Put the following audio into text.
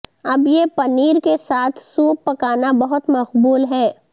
اب یہ پنیر کے ساتھ سوپ پکانا بہت مقبول ہے